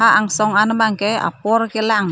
angsong an bangke apor kelang--